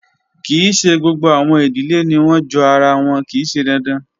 Kii ṣe gbogbo awọn idile ni wọn jo ara wọn, kii ṣe dandan